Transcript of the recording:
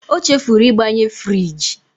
O chefuru ịgbanye friji.